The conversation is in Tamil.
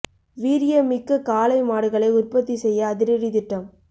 வீரியம் மிக்க காளை மாடுகளை உற்பத்தி செய்ய அதிரடி திட்டம்